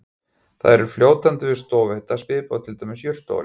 það er fljótandi við stofuhita svipað og til dæmis jurtaolía